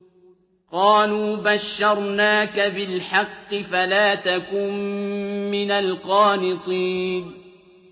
قَالُوا بَشَّرْنَاكَ بِالْحَقِّ فَلَا تَكُن مِّنَ الْقَانِطِينَ